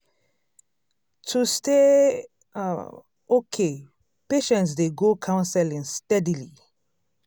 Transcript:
to stay um okay patients dey go counseling steadily